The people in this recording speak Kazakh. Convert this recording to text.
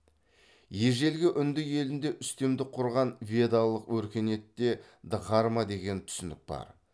ежелгі үнді елінде үстемдік құрған ведалық өркениетте дхарма деген түсінік бар